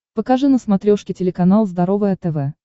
покажи на смотрешке телеканал здоровое тв